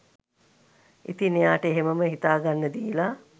ඉතින් එයාට එහෙමම හිතා ගන්න දීලා